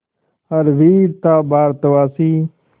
हर वीर था भारतवासी